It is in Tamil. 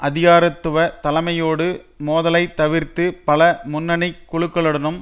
அதிகாரத்துவத் தலைமையோடு மோதலை தவிர்த்து பல முன்னணி குழுக்களுடனும்